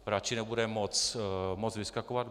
Radši nebude moc vyskakovat.